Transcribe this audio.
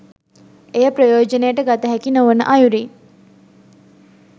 එය ප්‍රයෝජනයට ගතහැකි නොවන අයුරින්